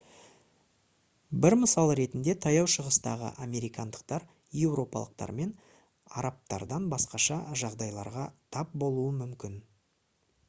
бір мысал ретінде таяу шығыстағы американдықтар еуропалықтар мен арабтардан басқаша жағдайларға тап болуы мүмкін